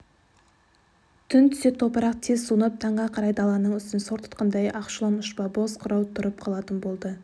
түн түсе топырақ тез суынып таңға қарай даланың үстін сор тұтқандай ақшулан ұшпа боз қырау тұрып қалатын болды